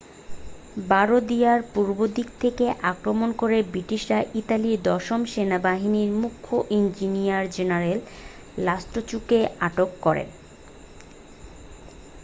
বারদিয়ার পূর্বদিক থেকে আক্রমণ করে ব্রিটিশরা ইতালির দশম সেনাবাহিনীর মুখ্য ইঞ্জিনিয়ার জেনারেল লাস্টুচিকে আটক করে